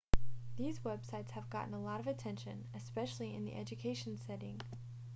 these websites have gotten a lot of attention especially in the education setting